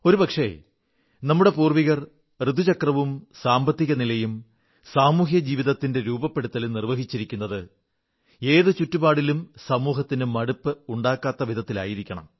ഒരു പക്ഷേ നമ്മുടെ പൂർവ്വികർ ഋതുചക്രവും സാമ്പത്തികനിലയും സാമൂഹ്യ ജീവിതത്തിന്റെ രൂപപ്പെടുത്തലും നിർവ്വഹിച്ചിരിക്കുന്നത് ഏതു ചുറ്റുപാടിലും സമൂഹത്തിൽ മടുപ്പ് ഉണ്ടാകാത്തവിധത്തിലായിരിക്കണം